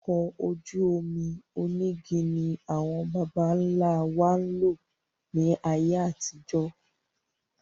Àwọn ọkọ̀ ojú omi onígi ni àwọn bàbá ńlá wa ń lò ní ayé àtijó.